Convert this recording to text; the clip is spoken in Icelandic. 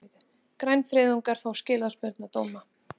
Grænfriðungar fá skilorðsbundna dóma